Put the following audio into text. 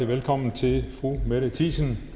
velkommen til fru mette thiesen